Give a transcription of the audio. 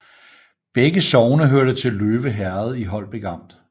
Begge sogne hørte til Løve Herred i Holbæk Amt